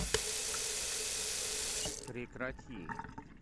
прекрати